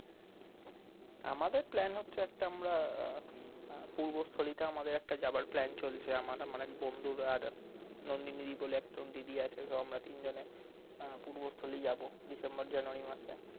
আমাদের plan হচ্ছে একটা আমরা আহ আহ পূর্বস্থলীতে আমাদের একটা যাবার plan চলছে আমার আমার এক বন্ধু আর নন্দিনীদি বলে একটা দিদি আছে তো আমরা তিনজনে আহ পূর্বস্থলী যাবো december-januay মাসে